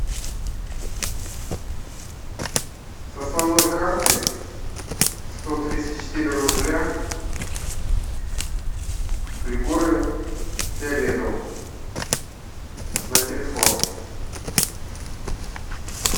с основной карты сто тридцать четыре рубля григорию фиолетову на телефон